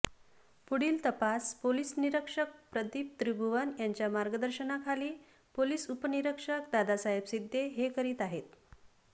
पुढील तपास पोलीस निरीक्षक प्रदीप त्रिभुवन यांच्या मार्गदर्शनाखाली पोलीस उपनिरीक्षक दादासाहेब सिद्धे हे करीत आहेत